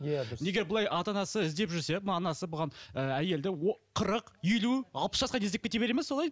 иә дұрыс егер былай ата анасы іздеп жүрсе анасы бұған ыыы әйелді қырық елу алпыс жасқа дейін іздеп кете бере ме солай